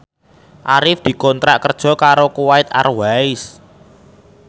Arif dikontrak kerja karo Kuwait Airways